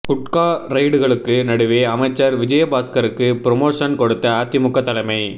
குட்கா ரெய்டுகளுக்கு நடுவே அமைச்சர் விஜயபாஸ்கருக்கு புரமோஷன் கொடுத்த அதிமுக தலைமை